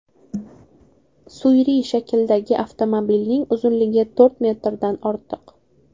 Suyri shakldagi avtomobilning uzunligi to‘rt metrdan ortiq.